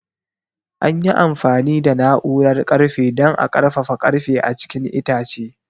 An yi amfani da na'urar ƙarfe don a ƙarfafa ƙarfe a cikin itace.